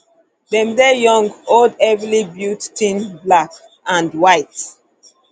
dem dey young old heavily built thin black and um white